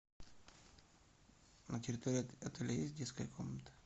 на территории отеля есть детская комната